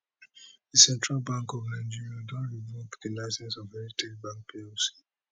di central bank of nigeria don revoke di licence of heritage bank plc